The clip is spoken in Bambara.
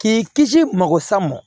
K'i kisi magosa mɔn